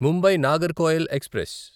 Mumbai Nagercoil express